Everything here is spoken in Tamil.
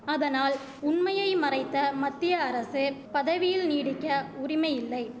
அதனால் உண்மையை மறைத்த மத்திய அரசு பதவியில் நீடிக்க உரிமையில்லை